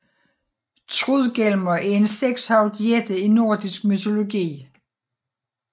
Trudgelmer er en sekshovedet jætte i nordisk mytologi